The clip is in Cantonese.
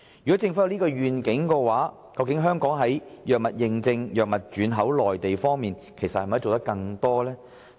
若政府有此願景，可否加強本港的藥物認證及藥物轉口至內地的服務？